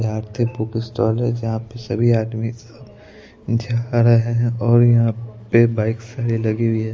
यहां पे book stall है जहां पे सभी आदमी जा रहे हैं और यहां पे बाइक सारे लगी हुई है।